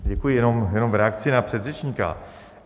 Děkuji, jenom v reakci na předřečníka.